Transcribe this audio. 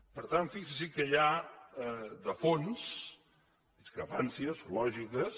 per tant fixin se que hi ha de fons discrepàncies lògiques